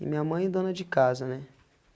E minha mãe é dona de casa, né?